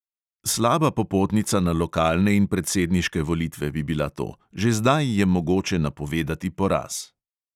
Slaba popotnica na lokalne in predsedniške volitve bi bila to, že zdaj je mogoče napovedati poraz.